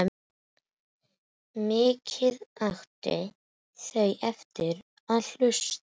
Mikið áttu erfitt með að hlusta.